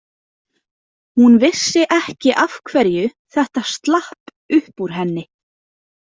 Hún vissi ekki af hverju þetta slapp upp úr henni.